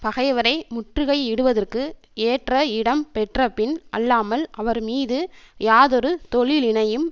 பகைவரை முற்றுகை இடுவதற்கு ஏற்ற இடம் பெற்றபின் அல்லாமல் அவர் மீது யாதொரு தொழிலினையும்